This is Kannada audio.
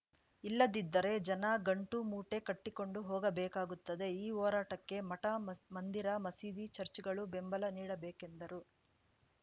ಇಲ್ಲದಿದ್ದರೆ ಜನ ಗಂಟು ಮೂಟೆ ಕಟ್ಟಿಕೊಂಡು ಹೋಗಬೇಕಾಗುತ್ತದೆ ಈ ಹೋರಾಟಕ್ಕೆ ಮಠ ಮಂದಿರ ಮಸೀದಿ ಚಚ್‌ರ್‍ಗಳು ಬೆಂಬಲ ನೀಡಬೇಕೆಂದರು